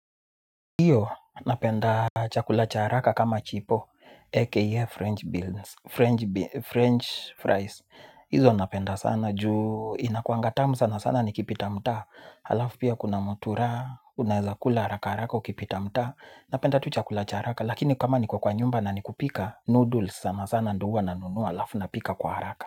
Iyo, napenda chakula cha haraka kama chipo, aka french beans french beans french fries. Hizo napenda sana ju, inakuanga tamu sana sana nikipita mtaa. Halafu pia kuna mutura, unaweza kula haraka haraka ukipita mtaa. Napenda tu chakula cha haraka. Lakini kama niko kwa nyumba na nikupika noodles sana sana ndio huwa nanunua halafu napika kwa haraka.